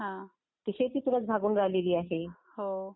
ती शेतीतूनच भागून राहिली आहे.